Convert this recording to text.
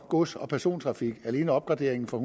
gods og persontrafik alene opgraderingen fra